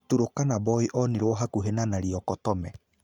Turkana boy onirwo hakuhĩ na Nariokotome.